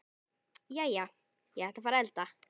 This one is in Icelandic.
Jæja, ég ætla að fara að elda.